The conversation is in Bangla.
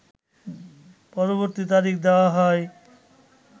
পরবর্তী তারিখ দেওয়া হয়